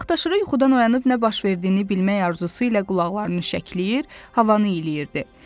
Vaxtaşırı yuxudan oyanıb nə baş verdiyini bilmək arzusu ilə qulaqlarını şəkləyir, havanı iyləyirdi.